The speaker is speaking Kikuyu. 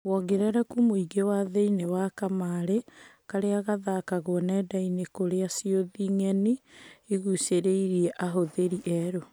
Wongerereku mũingĩ wĩ thĩinie wa kamarĩ karĩa gathakagwo nendainĩ kũrĩa ciũthi ng'eni igucĩrĩirie ahũthĩri erũ.